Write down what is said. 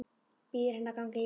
Býður henni að ganga í bæinn.